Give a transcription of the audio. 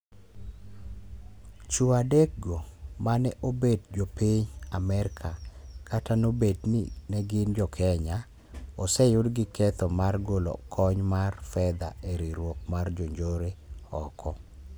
Chuo adek go, mane obet jo piny Amarka kata nobet ni ne gin jokenya, oseyud ki ketho mar golo kony mar fedha e riwruok mar jo njore oko